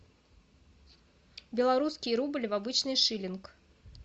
белорусский рубль в обычный шиллинг